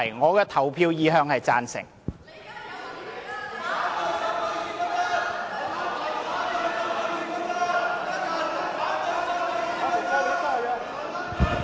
我的表決意向是"贊成"。